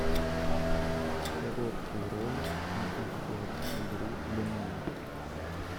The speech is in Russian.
короткий ролик на обзор игры домино